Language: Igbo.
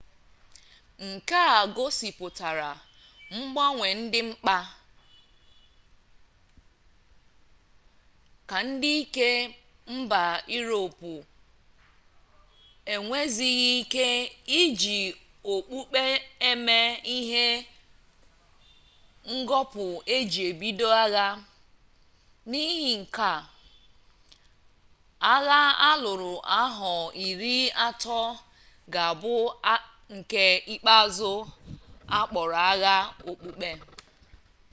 nke a gosipụtara mgbanwe dị mkpa ka ndị ike mba iroopu enwezighi ike iji okpukpe eme ihe ngọpụ eji ebido agha n'ihi nke a agha alụrụ ahọ iri atọ ga abụ nke ikpeazụ akpọrọ agha okpukpe